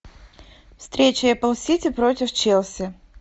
встреча апл сити против челси